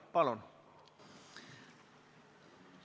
Palun!